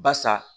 Basa